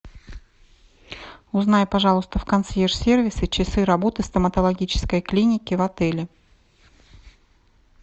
узнай пожалуйста в консьерж сервисе часы работы стоматологической клиники в отеле